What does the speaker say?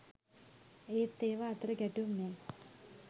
ඒත් ඒවා අතර ගැටුම් නෑ